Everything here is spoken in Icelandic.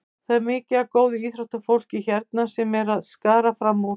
Það er mikið af góðu íþróttafólki hérna sem er að skara fram úr.